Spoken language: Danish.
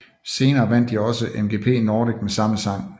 Senere vandt de også MGP Nordic med samme sang